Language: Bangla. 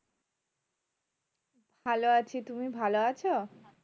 ভালো। আছি তুমি ভালো আছো?